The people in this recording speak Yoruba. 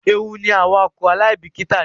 Ewu ni awakọ alaibikita jẹ.